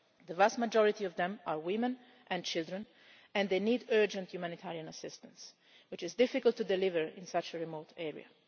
The vast majority of them are women and children and they need urgent humanitarian assistance, which is difficult to deliver in such a remote area.